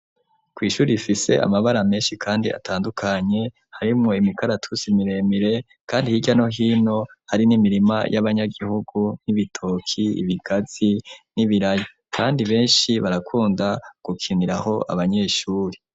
Kw'ishuri rifise amabara menshi kandi atandukanye harimwo imikaratusi miremire ,kandi hirya no hino hari n'imirima y'abanyagihugu n'ibitoki, ibigazi n'ibiraya ,kandi benshi barakunda gukiniraho abanyeshuri.